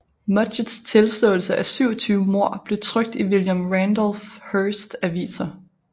Mudgetts tilståelse af 27 mord blev trykt i William Randolph Hearsts aviser